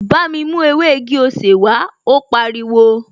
Bámi mú ewé igi-osè wàá, ó pariwo!